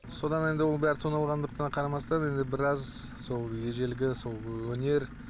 содан енді оның бәрі тоналғандықтан қарамастан енді біраз сол ежелгі сол өнер